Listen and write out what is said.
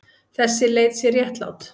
Þessi leið sé réttlát.